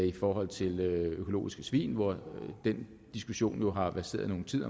i forhold til økologiske svin hvor den diskussion jo har verseret nogen tid